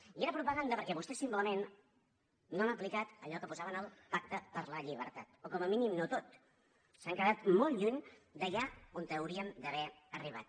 i era propaganda perquè vostès simplement no han aplicat allò que posaven al pacte per la llibertat o com a mínim no tot s’han quedat molt lluny d’allà on hauríem d’haver arribat